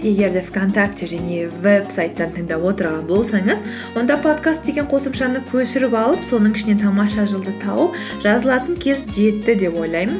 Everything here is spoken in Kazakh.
егер де вконтакте және вебсайттан тыңдап отырған болсаңыз онда подкаст деген қосымшаны көшіріп алып соның ішінен тамаша жыл ды тауып жазылатын кез жетті деп ойлаймын